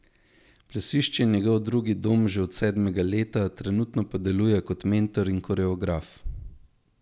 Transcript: Plesišče je njegov drugi dom že od sedmega leta, trenutno pa deluje tudi kot mentor in koreograf.